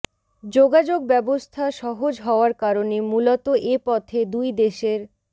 যোগাযোগ ব্যবস্থা সহজ হওয়ার কারণে মূলত এ পথে দুই দেশের